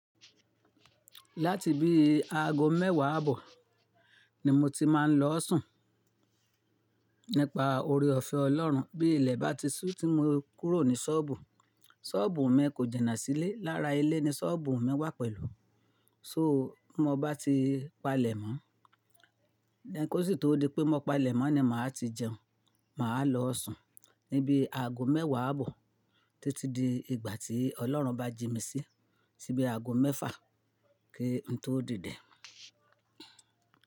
Láti bí aago mẹ́wàá àbọ̀ ni mo ti máa ń lọ sùn. Nípa oore ọ̀fẹ́ Ọlọ́run bí ilẹ̀ bá ti sú tí mo kúrò ní ṣọ́ọ̀bù. Ṣọ́ọ̀bù mi kò jẹ̀ná sílé. Lára ilé ni ṣọ́ọ̀bù mi wà pẹ̀lú. So mo bá ti palẹ̀mọ́, lẹ́kósì tó di pé mo palẹ̀mọ́ ni màá ti jẹun. Màá lọ sùn níbi aago mẹ́wàá bọ̀ títí di ìgbà tí Ọlọ́run bá ji mi sí ti bí aago mẹ́fà kí n tó dìde.